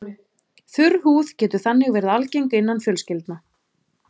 Þurr húð getur þannig verið algeng innan fjölskyldna.